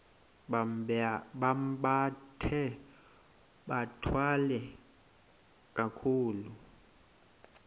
bambathe bathwale kakuhle